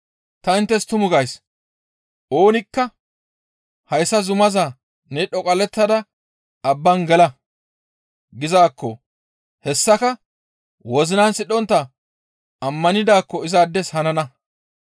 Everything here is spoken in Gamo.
Ta inttes tumu gays; ‹Oonikka hayssa zumaza ne dhoqallettada abban gela› gizaakko hessaka wozinan sidhontta ammanidaakko izaades hanana.